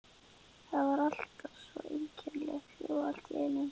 Það var allt svo einkennilega hljótt allt í einu.